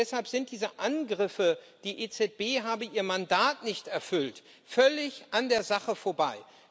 Deshalb sind diese Angriffe, die EZB habe ihr Mandat nicht erfüllt, völlig an der Sache vorbei.